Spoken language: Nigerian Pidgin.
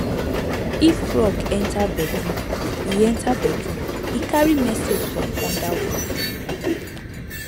if frog enter bedroom e enter bedroom e carry message from underworld